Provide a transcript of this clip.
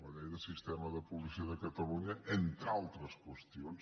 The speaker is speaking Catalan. la llei de sistema de policia de catalunya entre altres qüestions